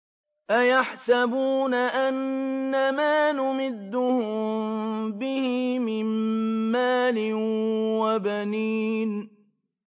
أَيَحْسَبُونَ أَنَّمَا نُمِدُّهُم بِهِ مِن مَّالٍ وَبَنِينَ